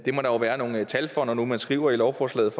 må der være nogle tal for når nu man skriver i lovforslaget